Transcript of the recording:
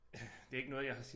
Det ikke noget jeg har